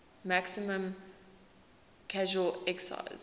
maximum casual excise